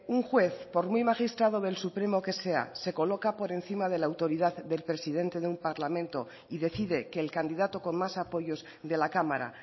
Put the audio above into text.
un juez por muy magistrado del supremo que sea se coloca por encima de la autoridad del presidente de un parlamento y decide que el candidato con más apoyos de la cámara